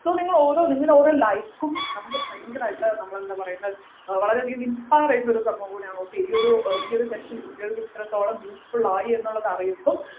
so നിങ്ങൾ ഓരോ നിങ്ങളെ ഓരോ like ഉം നമ്മക്ക് ഭയാനകരായിട്ട് നമ്മളെന്താ പറയുന്ന ഏർ വളരെയധികം inspire ചെയുന്ന ഒരു സംഭവം കൂടിയാണ് okay ഈ ഒരു ഈ ഒരു session കുട്ടികൾക്കു ഇത്രത്തോളം useful ആയിന്നുള്ളത് അറിയുമ്പോ